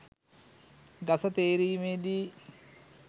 ගස තේරීමෙදී